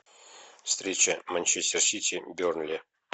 встреча манчестер сити бернли